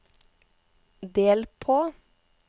del på